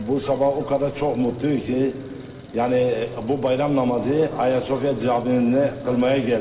Bu sabah o qədər çox mutluyuz ki, yəni bu bayram namazı Ayasofya Camiində qılmağa gəldik.